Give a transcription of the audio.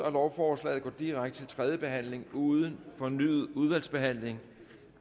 at lovforslaget går direkte til tredje behandling uden fornyet udvalgsbehandling